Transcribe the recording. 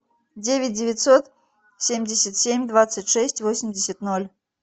девять девятьсот семьдесят семь двадцать шесть восемьдесят ноль